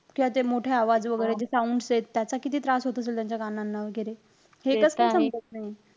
त्यात हे मोठे आवाज वैगेरे हे soundset त्याचा किती त्रास होत असेल त्यांच्या कानांना वैगेरे. हे कसं काय समजत नाई.